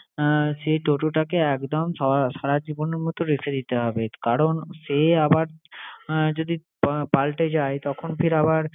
সেই toto টাকে একদম সারাজীবনের মতো রেখে দিতে হবে কারণ সে আবার যদি পাল্টে যায় তখন ফের আবার